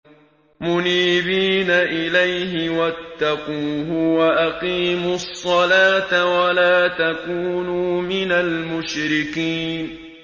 ۞ مُنِيبِينَ إِلَيْهِ وَاتَّقُوهُ وَأَقِيمُوا الصَّلَاةَ وَلَا تَكُونُوا مِنَ الْمُشْرِكِينَ